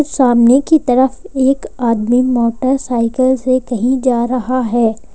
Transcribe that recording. सामने की तरफ एक आदमी मोटरसाइकिल से कहीं जा रहा है।